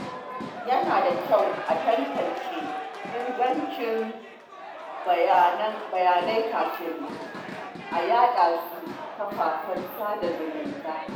Yana da kyau a tantance ingancin bayanai kafin a yaɗa su a kafafen sada zumunta.